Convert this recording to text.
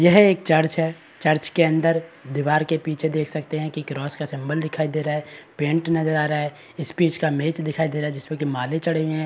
यह है चर्च है चर्च के अंदर दीवार के पीछे देख सकते हैं क्रॉस का सिंबल दिख रहा है पेंट नजर आ रहा है स्पीच का मेज दिखाई दे रहा है जिसपे माले चढ़े हैं।